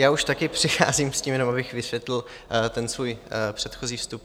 Já už také přicházím s tím jenom, abych vysvětlil ten svůj předchozí vstup.